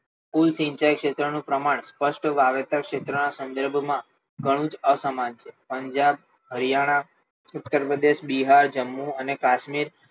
કુલ સિંચાઈ ક્ષેત્રનું પ્રમાણ સ્પષ્ટ વાવેતર ક્ષેત્રના સંજોગોમાં ઘણું જ અસમાન છે પંજાબ હરિયાણા ઉત્તર પ્રદેશ બિહાર જમ્મુ અને કાશ્મીર